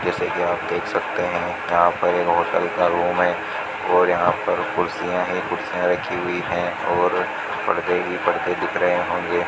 जैसे की आप देख सकते है यहां पर एक होटल का रूम है और यहां पर कुर्सियां है कुर्सियां रखी हुई है और पर्दे हीं पर्दे दिख रहे होंगे --